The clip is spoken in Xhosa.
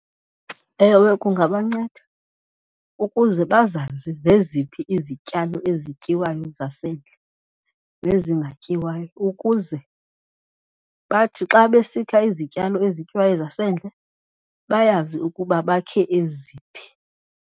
Ewe, kungabanceda ukuze bazazi zeziphi izityalo ezityiwayo zasendle nezingatyiwayo ukuze bathi xa besikha izityalo ezityiwayo zasendle bayazi ukuba bakhe eziphi.